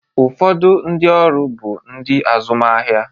Ụfọdụ ndị ọrụ bụ ndị azụmahịa.